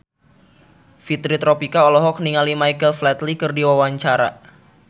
Fitri Tropika olohok ningali Michael Flatley keur diwawancara